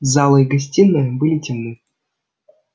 зала и гостиная были темны